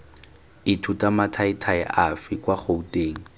ithuta mathaithai afe kwa gouteng